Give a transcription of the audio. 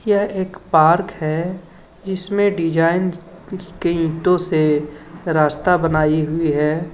यह एक पार्क है जिसमें डिजाइन कुछ ईंटों से रास्ता बनाई हुई हैं.